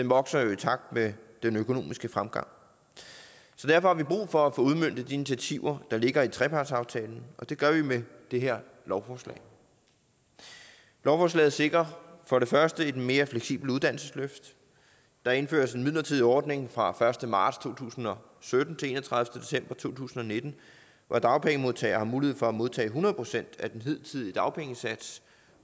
vokser jo i takt med den økonomiske fremgang derfor har vi brug for at få udmøntet de initiativer der ligger i trepartsaftalen og det gør vi med det her lovforslag lovforslaget sikrer for det første et mere fleksibelt uddannelsesløft der indføres en midlertidig ordning fra første marts to tusind og sytten til den enogtredivete december to tusind og nitten hvor dagpengemodtagere har mulighed for at modtage hundrede procent af den hidtidige dagpengesats